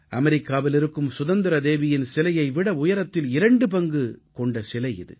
அமெரிக்காவில் இருக்கும் சுதந்திர தேவியின் சிலையை விட உயரத்தில் இரண்டு பங்கு கொண்ட சிலை இது